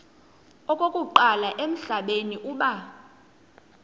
okokuqala emhlabeni uba